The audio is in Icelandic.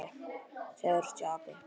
Segðu að þú sért api!